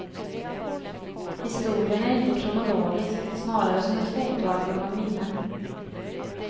Historien är inte kronologisk, snarare som ett fotoalbum av minnen.